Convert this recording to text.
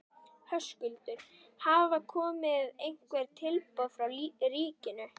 Höskuldur: Hafa komið einhver tilboð frá ríkinu?